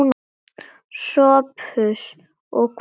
SOPHUS: Og hvað með það?